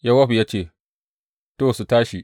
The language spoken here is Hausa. Yowab ya ce, To, su tashi.